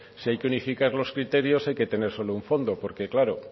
si hay que unificar los criterios hay que tener solo un fondo porque claro